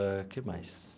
O que mais?